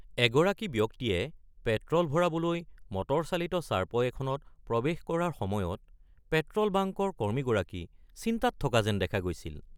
এগৰাকী ব্যক্তিয়ে পেট্ৰ'ল ভৰাবলৈ মটৰচালিত চাৰ্পয় এখনত প্ৰৱেশ কৰাৰ সময়ত পেট্ৰ'ল বাংকৰ কৰ্মীগৰাকী চিন্তাত থকা যেন দেখা গৈছিল।